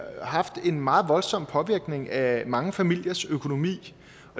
haft en meget voldsom påvirkning af mange familiers økonomi